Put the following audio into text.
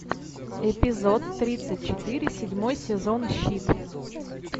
эпизод тридцать четыре седьмой сезон щит